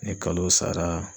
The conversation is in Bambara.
Ni kalo sara